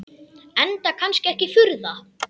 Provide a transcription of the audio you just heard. Enda kannski ekki að furða.